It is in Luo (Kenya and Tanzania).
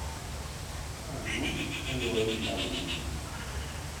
Iparo ang'o kaluwore gi ndalo mabiro